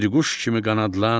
bir quş kimi qanadlan,